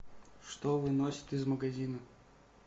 что выносят из магазина